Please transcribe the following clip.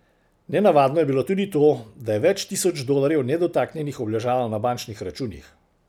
Nenavadno je bilo tudi to, da je več tisoč dolarjev nedotaknjenih obležalo na bančnih računih.